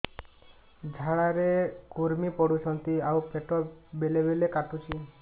ଝାଡା ରେ କୁର୍ମି ପଡୁଛନ୍ତି ଆଉ ପେଟ ବେଳେ ବେଳେ କାଟୁଛି